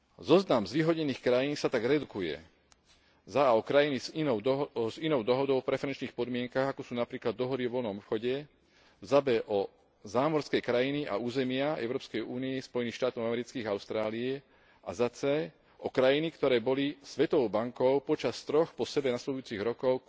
Zoznam zvýhodnených krajín sa tak redukuje a o krajiny s inou dohodou o preferenčných podmienkach, ako sú napríklad dohody o voľnom obchode, b o zámorské krajiny a územia Európskej únie, Spojených štátov amerických a Austrálie, a c o krajiny, ktoré boli Svetovou bankou počas troch po sebe nasledujúcich rokoch